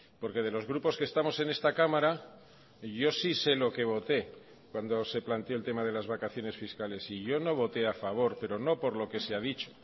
porque de los grupos que estamos en esta cámara yo sí sé lo que voté cuando se planteó el tema de las vacaciones fiscales y yo no voté a favor pero no por lo que se ha dicho